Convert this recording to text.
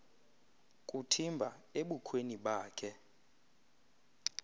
kuthimba ebukhweni bakhe